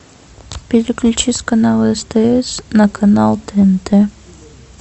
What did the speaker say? переключи с канала стс на канал тнт